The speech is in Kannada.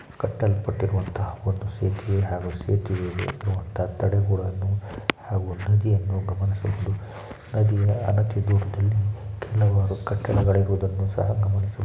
ಕಟ್ಟೆಯನ್ನು ಕಟ್ಟಿರುವಂತಹ ಒಂದು ಸೇತುವೆ ಹಾಗೂ ಸೇತುವೆಗೆ ಕಟ್ಟಡವು ಕಟ್ಟಿರುವುದನ್ನು ಗಮನಿಸ ಬಹುದು ಹಾಗೆ ದೂರದಲ್ಲಿ ಹಲವಾರು ಕಟ್ಟಡಗಳು ಇರುವುದನ್ನು ಕಾಣಬಹುದು.